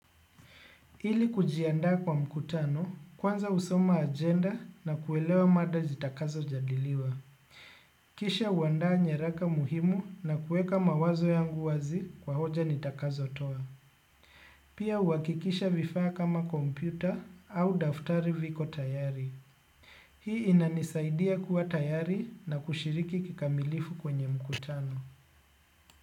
Ili kujiandaa kwa mkutano kwanza husoma ajenda na kuelewa mada jitakazo jadiliwa. Kisha huandaa nyaraka muhimu na kueka mawazo yangu wazi kwa hoja nitakazo toa. Pia huhakikisha vifaa kama kompyuta au daftari viko tayari. Hii inanisaidia kuwa tayari na kushiriki kikamilifu kwenye mkutano.